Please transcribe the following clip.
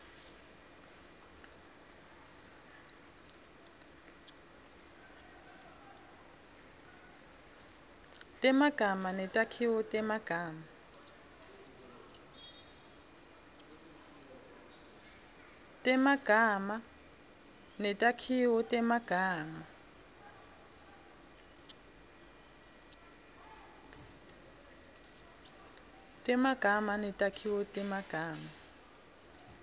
temagama netakhiwo temagama